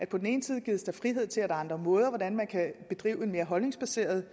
på den ene side gives frihed til andre måder at bedrive en mere holdningsbaseret